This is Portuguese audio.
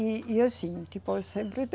E, e assim, depois sempre